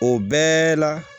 O bɛɛ la